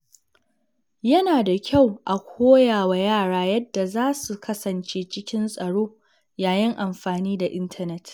Yana da kyau a koya wa yara yadda za su kasance cikin tsaro yayin amfani da intanet.